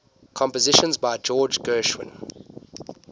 compositions by george gershwin